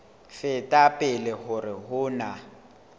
feta pele hore ho na